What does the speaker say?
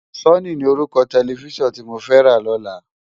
Sóni ni órúkò tèlèfisán ti mó fè rá lòlá